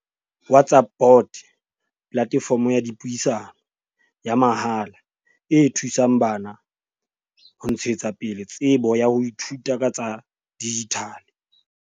WhatsApp bot, platefomo ya dipuisano, ya mahala e thusang bana ho ntshetsa pele tsebo ya ho ithuta ka tsa dijithale.